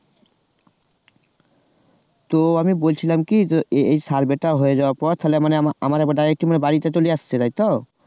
তো আমি বলছিলাম কি এই survey টা হয়ে যাওয়ার পর তাহলে মানে আমার আমার Direct বাড়িতে চলে আসছে তাই তো?